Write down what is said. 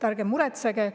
Ärge muretsege!